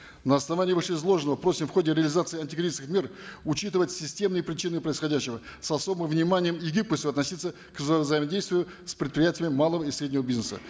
на основании вышеизложенного просим в ходе реализации антикризисных мер учитывать системные причины происходящего с особым вниманием и гибкостью относиться к взаимодействию с предприятими малого и среднего бизнеса